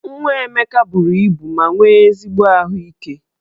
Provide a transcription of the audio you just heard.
Nwa Emeka buru ibu ma nwee ezigbo ahụike.